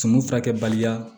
Sumun furakɛbaliya